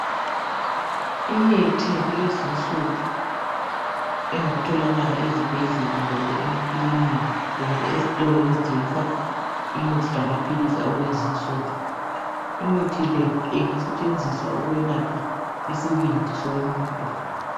Imithi yakulezinsuku engatholakala ezibhedlela kumbe emakilinika kumbe ezitolo ezithengisa imithi lamaphilisi akulezinsuku. Imithi le ingasetshenziswa ukwelapha isibindi somuntu.